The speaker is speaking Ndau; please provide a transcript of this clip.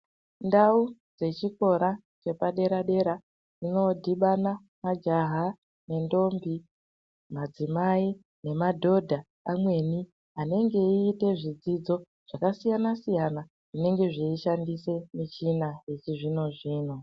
Ndau dzechikora chepadera dera kunodhibana majaha nendombi madzimai nemadhodha amweni anenge eiite zvidzidzo zvakasiyana siyana zvinenge zveishandise michina yechizvino zvino.